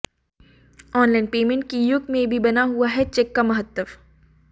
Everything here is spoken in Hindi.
ऑनलाइन पेमेंट के युग में भी बना हुआ है चेक का महत्व